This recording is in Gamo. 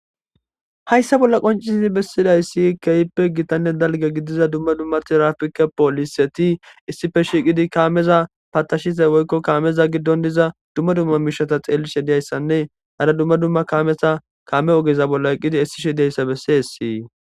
Haysa bola qonc'sizi bessidaysi kehipe gitane dalga gidiza duma duma tirafike poliseti issipe shiqidi kameza patashiza woyko kameza gidon diza duma duma mishata xelishe diyaysane hara duma duma kameta kame ogeza bola eqidi esishe diyaysa beses.